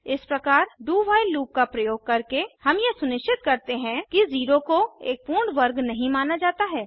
इस प्रकार do while loop का प्रयोग करके हम यह सुनिश्चित करते हैं कि 0 को एक पूर्ण वर्ग नहीं माना जाता है